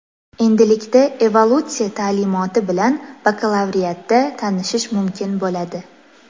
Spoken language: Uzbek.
Endilikda evolyutsiya ta’limoti bilan bakalavriatda tanishish mumkin bo‘ladi.